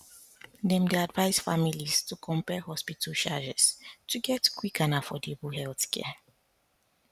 dem dey advise families to compare hospital charges to get quick and affordable healthcare